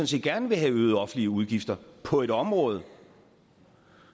set gerne vil have øgede offentlige udgifter på et område